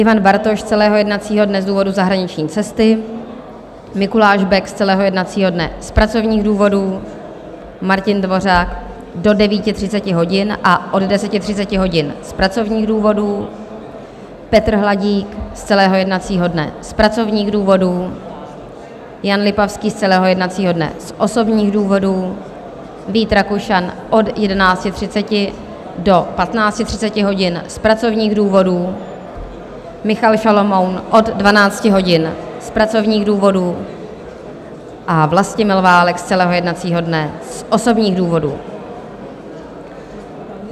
Ivan Bartoš z celého jednacího dne z důvodu zahraniční cesty, Mikuláš Bek z celého jednacího dne z pracovních důvodů, Martin Dvořák do 9.30 hodin a od 10.30 hodin z pracovních důvodů, Petr Hladík z celého jednacího dne z pracovních důvodů, Jan Lipavský z celého jednacího dne z osobních důvodů, Vít Rakušan od 11.30 do 15.30 hodin z pracovních důvodů, Michal Šalomoun od 12 hodin z pracovních důvodů a Vlastimil Válek z celého jednacího dne z osobních důvodů.